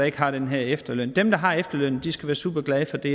ikke har den her efterløn dem der har efterlønnen skal være superglade for det